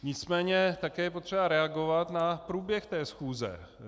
Nicméně také je potřeba reagovat na průběh té schůze.